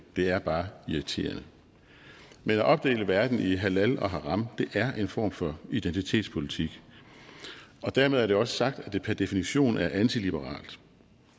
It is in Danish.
det er bare irriterende men at opdele verden i halal og haram er en form for identitetspolitik og dermed er det også sagt at det per definition er antiliberalt